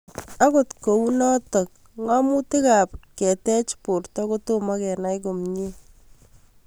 Akot kou notok ng'amutik ab kotech porto kotomo kenai komie